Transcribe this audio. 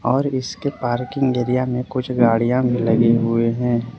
और इसके parking area में कुछ गाड़ियां भी लगी हुए हैं।